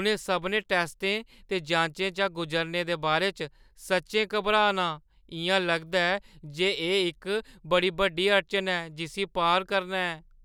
उ'नें सभनें टैस्टें ते जांचें चा गुजरने दे बारे च सच्चैं घबरा ना आं। इʼयां लगदा ऐ जे एह् इक बड़ी बड्डी अड़चन ऐ जिस्सी पार करना ऐ।